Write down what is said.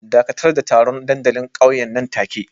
Dakatar da taron dandalin ƙauyen nan take